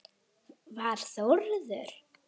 Var Þórður